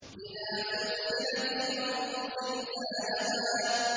إِذَا زُلْزِلَتِ الْأَرْضُ زِلْزَالَهَا